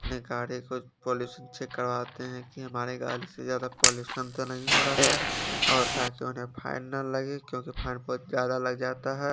Police check करवाते है के हमारे गाड़ी से ज्यादा पोलुशन तो नहीं हो रहा है और ताके उन्हें फ़ाईन न लगे किउके फ़ाईन बहत ज्यादा लग जाता है।